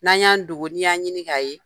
N'an y'an dogo, ni y'an ɲini k'a ye.